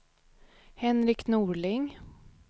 Henrik Norling